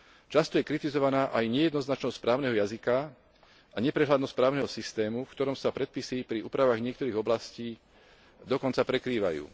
Často je kritizovaná aj nejednoznačnosť právneho jazyka a neprehľadnosť právneho systému, v ktorom sa predpisy pri úpravách niektorých oblastí dokonca prekrývajú.